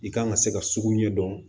I kan ka se ka sugu ɲɛ dɔn